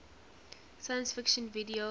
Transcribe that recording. science fiction video